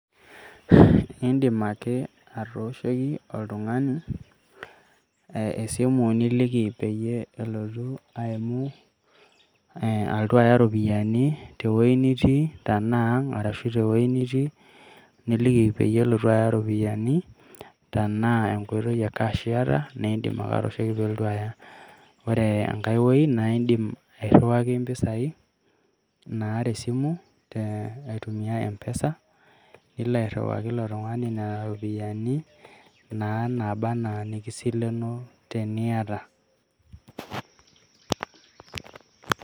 Idim ake atooshoki oltung`ani esimu niliki peyie elotu aimu alotu aya ropiyiani, te wueji niitii tenaa ang ashu te wueji nitii. Nilki pee elotu aya ropiyiani tenaa enkoitoi e cash naa idim ake aipoto pee elotu aya. Ore enkae wueji naa idim ake airiwaki rropiyiani naa te simu aitumia m-pesa nilo naa airiwaki ilo tung`ani nena ropiyiani naa nabaa naa enaa inikisileno teniata.